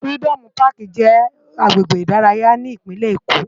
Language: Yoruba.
Firidòmú Pàkí jè àgbégbé idàráyá ni Ipinlé Ékó